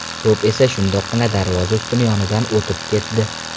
To‘p esa shundoqqina darvoza ustuni yonidan o‘tib ketdi.